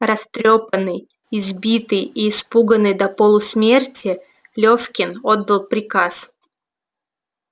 растрёпанный избитый и испуганный до полусмерти лёфкин отдал приказ